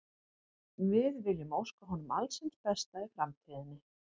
Við viljum óska honum alls hins besta í framtíðinni.